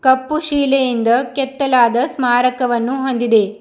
ಕಪ್ಪು ಶಿಲೆಯಿಂದ ಕೆತ್ತಲಾದ ಸ್ಮಾರಕವನ್ನು ಹೊಂದಿದೆ.